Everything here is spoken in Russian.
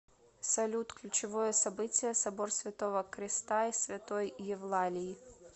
салют ключевое событие собор святого креста и святой евлалии